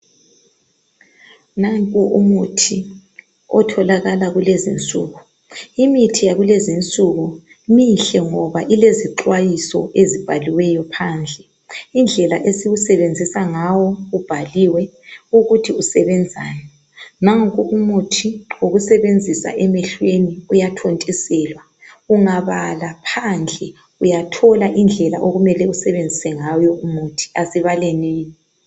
Nanku umuthi otholakala kulezinsuku. Imithi yakulezinsuku mihle ngoba kulezixhwayiso ezibhaliweyo phandle. Indlela esiwusebenzisa ngawo ubhaliwe ukuthi usebenzani. Nanku umuthi wokusebenzisa emehlweni uyathontiselwa. Ungabala phandle uyathola indlela okumele usebenzise ngawo umuthi asibalenini.